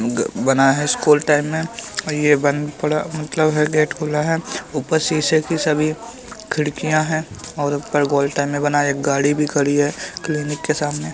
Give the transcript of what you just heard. बना हैं school time मे और यह बंद पड़ा मतलब हैं गेट खुला हैं ऊपर शीशे की सभी खिड़किया हैं और उनपर गोल टाइम मे बना एक गाड़ी भी खड़ी हैं क्लिनिक के सामने --